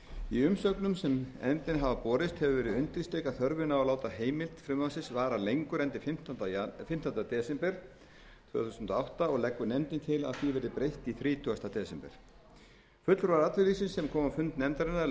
í umsögnum sem nefndinni hafa borist hefur verið undirstrikuð þörfin á að láta heimild frumvarpsins vara lengur en til fimmtánda desember tvö þúsund og átta og leggur nefndin til að því verði breytt í þrítugasti desember fulltrúar atvinnulífsins sem komu á fund nefndarinnar